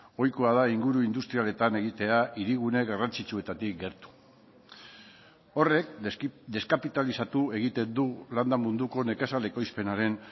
ohikoa da inguru industrialetan egitea hirigune garrantzitsuetatik gertu horrek deskapitalizatu egiten du landa munduko nekazal ekoizpenaren